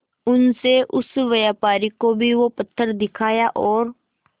उनसे उस व्यापारी को भी वो पत्थर दिखाया और